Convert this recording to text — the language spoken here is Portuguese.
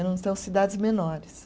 Eram então cidades menores.